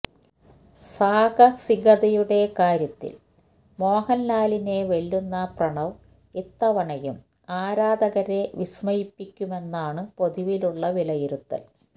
സാഹസികതയുടെ കാര്യത്തില് മോഹന്ലാലിനെ വെല്ലുന്ന പ്രണവ് ഇത്തവണയും ആരാധകരെ വിസ്മയിപ്പിക്കുമെന്നാണ് പൊതുവിലുള്ള വിലയിരുത്തല്